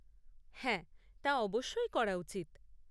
হ্যাঁ তা অবশ্যই করা উচিত।